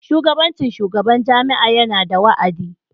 Shugabancin shugaban jami'a yana da wa'adi.